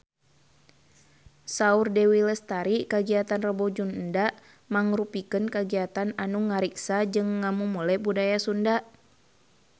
Saur Dewi Lestari kagiatan Rebo Nyunda mangrupikeun kagiatan anu ngariksa jeung ngamumule budaya Sunda